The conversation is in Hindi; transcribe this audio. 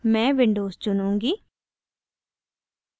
मैं windows चुनूँगी